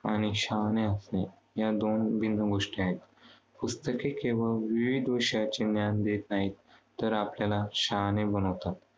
आणि शहाणे असणे, या दोन विभिन्न गोष्टी आहेत. पुस्तके केवळ विविध विषयांचे ज्ञान देत नाहीत. तर आपल्याला शहाणे बनवतात.